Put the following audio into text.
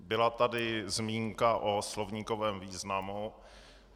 Byla tady zmínka o slovníkovém významu.